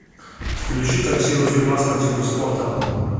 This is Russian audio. включи красивый фильмас по типу спорта